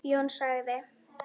Jón sagði